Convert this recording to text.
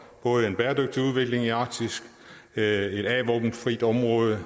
en bæredygtig udvikling i arktis et a våben frit område